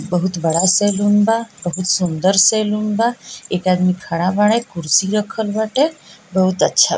बहुत बड़ा सैलून बा बहुत सुन्दर सैलून बा एक आदमी खड़ा बाड़े कुर्सी रखल बाटे बहुत अच्छा।